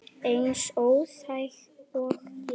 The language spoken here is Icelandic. Eins óþæg og ég?